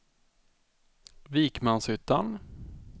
Vikmanshyttan